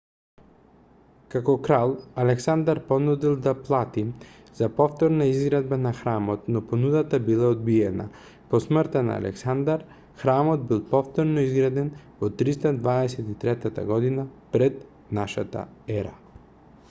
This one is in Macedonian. како крал александар понудил да плати за повторна изградба на храмот но понудата била одбиена по смртта на александар храмот бил повторно изграден во 323 година пр н е